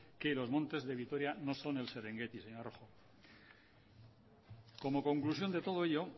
que los montes de vitoria no son el serengeti señora rojo como conclusión de todo ello